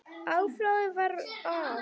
Afráðið var að